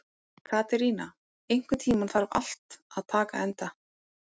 Katerína, einhvern tímann þarf allt að taka enda.